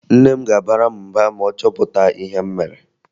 Nne m ga-abara m mba ma ọ chọpụta ihe m mere